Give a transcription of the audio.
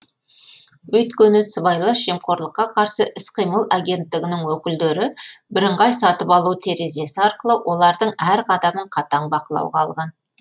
өйткені сыбайлас жемқорлыққа қарсы іс қимыл агенттігінің өкілдері бірыңғай сатып алу терезесі арқылы олардың әр қадамын қатаң бақылауға алған